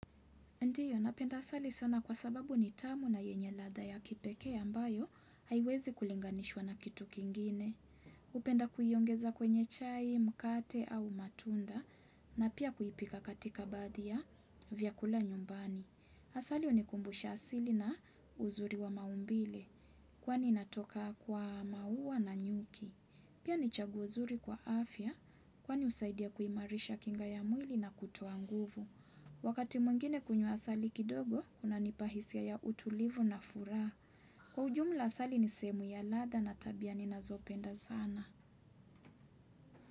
Ndiyo, napenda asali sana kwa sababu ni tamu na yenye ladha ya kipeke ambayo haiwezi kulinganishwa na kitu kingine. Hupenda kuyiongeza kwenye chai, mkate au matunda na pia kuipika katika baadhi vyakula nyumbani. Asali unikumbusha asili na uzuri wa maumbile kwani inatoka kwa maua na nyuki. Pia ni chaguo uzuri kwa afya kwani usaidia kuimarisha kinga ya mwili na kutoa nguvu. Wakati mwingine kunywa asali kidogo, kuna nipahisia ya utulivu na furaha. Kwa ujumla asali ni sehemu ya ladha na tabia ninazopenda sana.